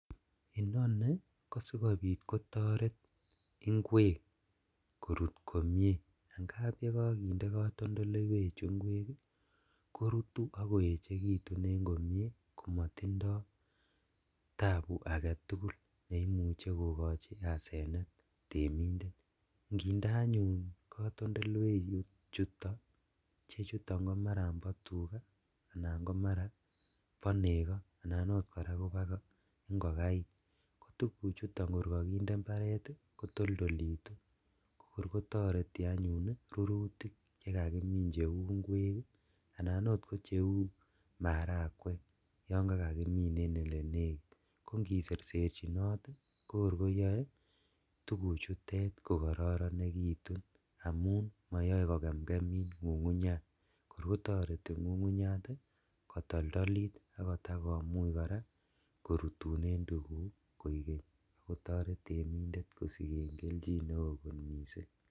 Inoni kosikobit kotoret inkwek korut komie angap yekokinde kotondoleiwechu inkwek ii korutu ok koechekitun en komie komotindo tabu agetugul neimuche kokochi asenet temindet, inginde anyun kotondoleiwechuto ichechuton komaran bo tugaa anan komara bo nego anan oot koraa koboo ingokaik tuguchuton kor kokinde mbaret ii kotoldolitu kokor kotoreti anyun rurutik chekakimin cheuu inkweek ii anan ot ko cheu marakwek yon kakakimin en elenekit ko ongiserserchinot ii kokor koyoe tuguchutet kokoronitun amun moyoe kokemngemit ngungunyat korkotoreti ngungunyat kotoldolit akotakomuch koraa korutunen tuguk koigen ak kotoret temindet kosiken keljin neo kot missing'.